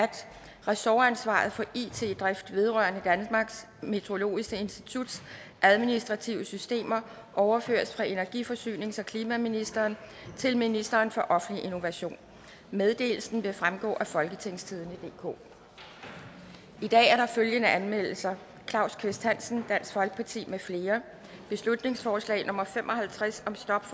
ressortansvaret for it drift vedrørende danmarks meteorologiske instituts administrative systemer overføres fra energi forsynings og klimaministeren til ministeren for offentlig innovation meddelelsen vil fremgå af folketingstidende DK i dag er der følgende anmeldelser claus kvist hansen mfl beslutningsforslag nummer b fem og halvtreds